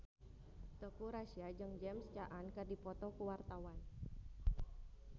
Teuku Rassya jeung James Caan keur dipoto ku wartawan